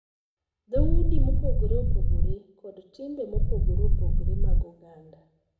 Dhoudi mopogore opogore, kod timbe mopogore opogore mag oganda.